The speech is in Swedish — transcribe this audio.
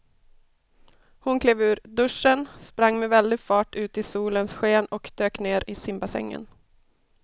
Hon klev ur duschen, sprang med väldig fart ut i solens sken och dök ner i simbassängen.